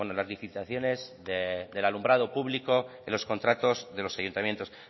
las licitaciones del alumbrado público en los contratos de los ayuntamientos